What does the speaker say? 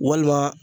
Walima